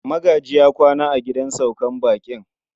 Magaji ya kwana a gidan sauka baƙin.